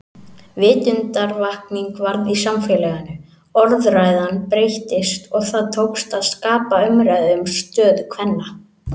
Vitundarvakning varð í samfélaginu, orðræðan breyttist og það tókst að skapa umræðu um stöðu kvenna.